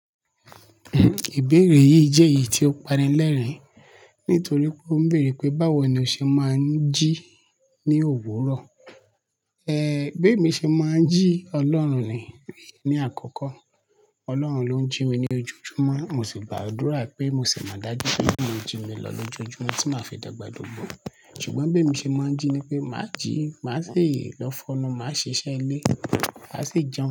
Ìbéèrè yìí jẹ́ èyí tí ó pani lẹ́rìn-ín, nítorí pé ó ń bèèrè pé báwo ni ó ṣe máa ń jí ní òwúrọ̀. Ẹ̀, bé mi ṣe máa ń jí Ọlọ́run ni, ní àkọ́kọ́. Ọlọ́run ló ń jí mi ní ojojúmọ́, mo sì gbàdúrà pé mo ṣe máa dájú pé ó máa ń jí mi lọ lójoojúmọ́ tí màá fi dàgbà dùgbò. Ṣùgbọ́n bé mi ṣe máa ń jí ni pé màá jí, màá si lọ fọ́nu, màá ṣe iṣẹ́ ilé, màá sì jẹun.